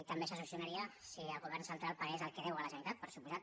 també se solucionaria si el govern central pagués el que deu a la generalitat per descomptat